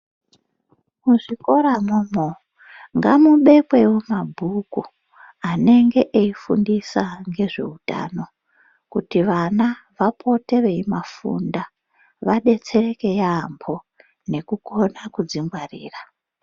Muzvikoro umwomwo ngamubekwewo mabhuku anenge eifundisa ngezveutano kuti vana vapote veimafunda vadetsereke yambo nekukona kudzingwarira.